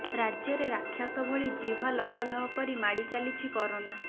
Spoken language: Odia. ରାଜ୍ୟରେ ରାକ୍ଷସ ଭଳି ଜିହ୍ୱା ଲହ ଲହ କରି ମାଡ଼ି ଚାଲିଛି କରୋନା